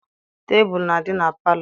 Tebulu na-adị na palọ.